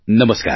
નમસ્કાર